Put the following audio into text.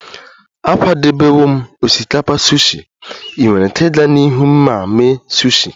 Akwadebewo m osikapa sushi, ị nwere ike ịga n'ihu ma mee sushi